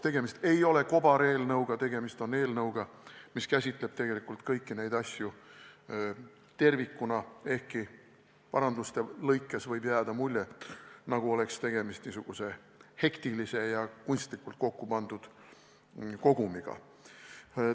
Tegemist ei ole mitte kobareelnõuga, vaid eelnõuga, mis käsitleb kõiki neid asju tervikuna, ehkki paranduste järgi võib jääda mulje, nagu oleks tegemist mingisuguse hektilise ja kunstlikult kokku pandud kogumiga.